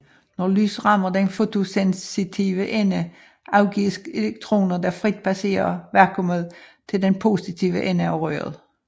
Når lys rammer den fotosensitive ende afgives elektroner der frit passere vakuummet til den positive ende af røret